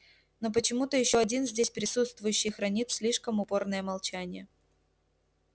но почему-то ещё один здесь присутствующий хранит слишком упорное молчание